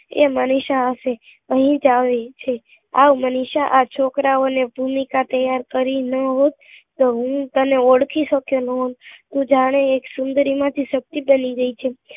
એ મનીષા હશે અહી જ આવી રહી છે આવ મનીષા આ છોકરા ઓ ની ભૂમિકા તૈયાર કરી નાં હોત તો હું તને ઓળખી શક્યો નાં હોત તું જાને એક સુંદરી માંથી સતી બની ગઈ છે